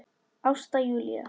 Ásta Júlía.